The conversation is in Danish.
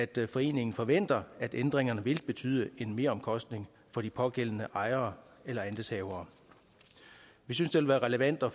det at foreningen forventer at ændringerne vil betyde en meromkostning for de pågældende ejere eller andelshavere vi synes det vil være relevant at